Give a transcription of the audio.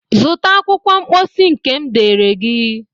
Zụta akwụkwọ mposi nke m deere gị!